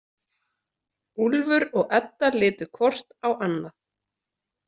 Úlfur og Edda litu hvort á annað.